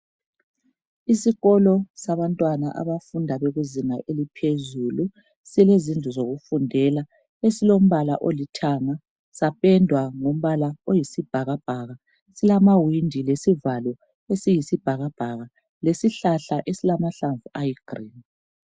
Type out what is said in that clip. Isikolo sabantwana abafunda bekuzinga eliphezulu silezindlu zokufundela esilombala olithanga sapendwa ngombala oyisibhakabhaka silamawindi lesivalo esiyibhakabhaka lesihlahla silamahlamvu ayigreen